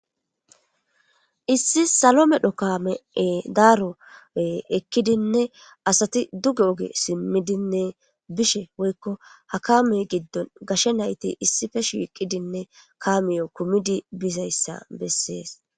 issi salo medho kaame daaro ekkidinne asati dugge oge simmidinne bishe woykko ha kaamey giddon gashe nayti issife shiiqidinne kaamiyo kumidi bizayssa bessees.